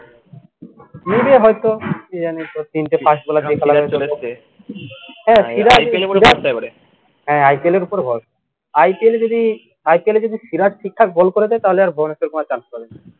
নেবে হয়ত কী জানি হ্যাঁ IPL এর উপরে ভরসা IPL যদি IPL যদি সিরাজ ঠিকঠাক ball করে দেয় তাহলে আর ভুবনেশাবর কুমার chance পাবে না